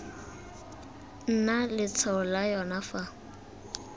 nna letshwao la yona fa